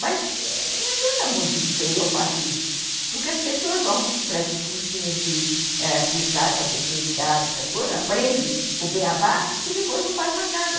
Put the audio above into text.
Mas não adianta muito dizer que eu faço isso, porque as pessoas vão para esses cursinhos ãh de clicar para a terceira idade, essas coisas, aprendem o beabá e depois não fazem mais nada.